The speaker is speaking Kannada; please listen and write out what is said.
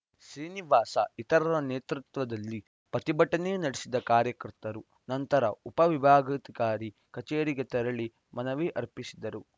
ಶ್ರೀನಿವಾಸ ಇತರರ ನೇತೃತ್ವದಲ್ಲಿ ಪ್ರತಿಭಟನೆ ನಡೆಸಿದ ಕಾರ್ಯಕರ್ತರು ನಂತರ ಉಪ ವಿಭಾಗಾಧಿಕಾರಿ ಕಚೇರಿಗೆ ತೆರಳಿ ಮನವಿ ಅರ್ಪಿಸಿದರು